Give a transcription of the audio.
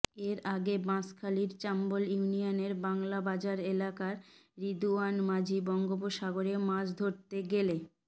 এর আগে বাঁশখালীর চাম্বল ইউনিয়নের বাংলাবাজার এলাকার রিদুয়ান মাঝি বঙ্গোপসাগরে মাছ ধরতে গেলে